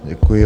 Děkuji.